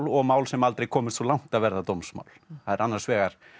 og mál sem aldrei komust svo langt að verða dómsmál það er annars vegar